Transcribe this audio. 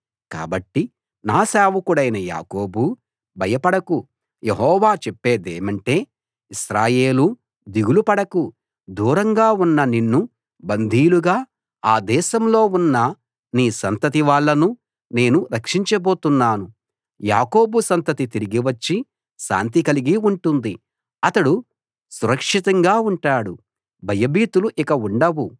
కాబట్టి నా సేవకుడవైన యాకోబూ భయపడకు యెహోవా చేప్పేదేమంటే ఇశ్రాయేలూ దిగులు పడకు దూరంగా ఉన్న నిన్ను బందీలుగా ఆ దేశంలో ఉన్న నీ సంతతి వాళ్ళను నేను రక్షించబోతున్నాను యాకోబు సంతతి తిరిగి వచ్చి శాంతి కలిగి ఉంటుంది అతడు సురక్షితంగా ఉంటాడు భయభీతులు ఇంక ఉండవు